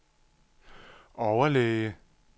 overlæge